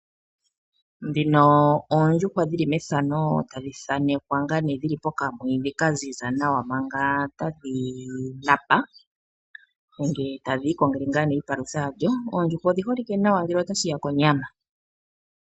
Ndhino oondjuhwa dhili methano ,tadhi thanekwa ngaa nee ,dhili pokamwiidhi ka ziza nawa mpanga tadhi napa nenge tadhi iko ngele iipalutha ya dho. Oondjuhwa odhi holike nawa ngele ota shi ya konyama .